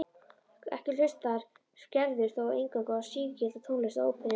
Ekki hlustar Gerður þó eingöngu á sígilda tónlist og óperur.